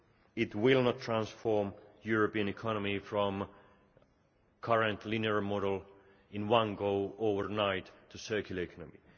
It will not transform the European economy from the current linear model in one go, overnight, to a circular economy.